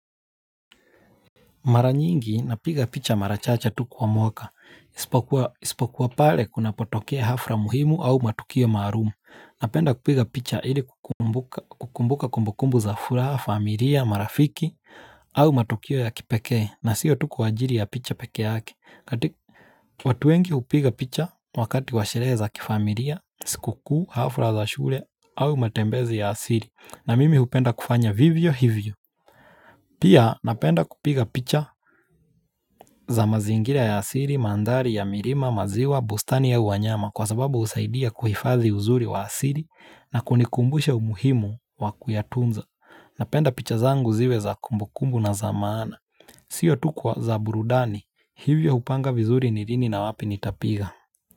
Mara nyingi napiga picha mara chache tu kwa mwaka, isipokuwa pale kunapotokea hafla muhimu au matukio maalum Napenda kupiga picha ili kukumbuka kumbukumbu za furaha, familia, marafiki au matukio ya kipekee na sio tu kwa ajili ya picha peke yake watu wengi upiga picha wakati wa sherehe za kifamilia, sikukuu, hafla za shule au matembezi ya asili na mimi upenda kufanya vivyo hivyo Pia napenda kupiga picha za mazingira ya asili, mandhari ya milima, maziwa, bustani au wanyama kwa sababu husaidia kuhifadhi uzuri wa asili na kunikumbusha umuhimu wa kuyatunza Napenda picha zangu ziwe za kumbukumbu na za maana Sio tu kwa za burudani, hivyo upanga vizuri ni lini na wapi nitapiga.